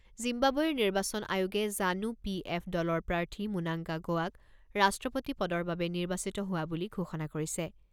জিম্বাবৱেৰ নিৰ্বাচন আয়োগে ZANU P F দলৰ প্ৰাৰ্থী মুনাংগা গোৱাক ৰাষ্ট্ৰপতি পদৰ বাবে নিৰ্বাচিত হোৱা বুলি ঘোষণা কৰিছে।